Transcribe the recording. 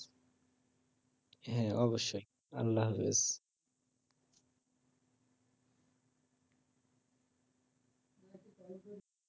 হ্যা অবশ্যই আল্লাহ হাফেজ